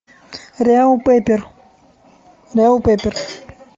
реал пеппер реал пеппер